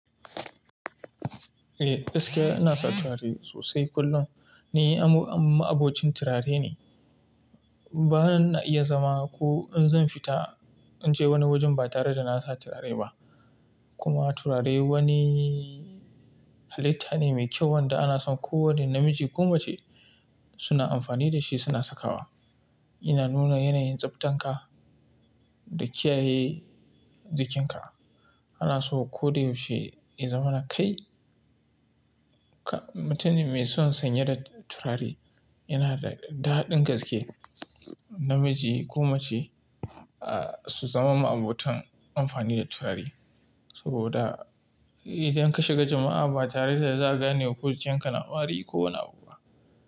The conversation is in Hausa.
Eh gaskiya ina sa turare sosai kullum. Ni ma'abocin turare ne. Ba na iya zama ko in zan fita in je wani wajen ba tare da na sa turare ba. Kuma turare wani halitta ne mai kyau wanda ana son kowane namiji ko mace suna amfani da shi suna sakawa. Yana nuna yanayin tsaftanka da kiyaye jikinka. Ana so ko da yaushe ya zama na kai. Mutun ne mai son sanye da turare yana da daɗin gaske. Namiji ko mace su zama ma'abotan amfani da turare. Saboda idan ka shiga jama'a ba tare da za a gane ko jikinka na wari ko wani abu ba.